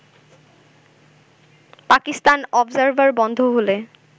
Pakistan Observer বন্ধ হলে